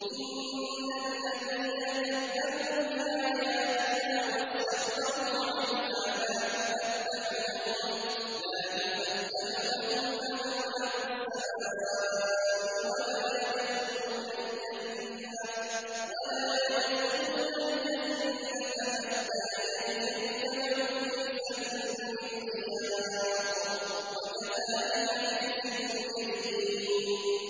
إِنَّ الَّذِينَ كَذَّبُوا بِآيَاتِنَا وَاسْتَكْبَرُوا عَنْهَا لَا تُفَتَّحُ لَهُمْ أَبْوَابُ السَّمَاءِ وَلَا يَدْخُلُونَ الْجَنَّةَ حَتَّىٰ يَلِجَ الْجَمَلُ فِي سَمِّ الْخِيَاطِ ۚ وَكَذَٰلِكَ نَجْزِي الْمُجْرِمِينَ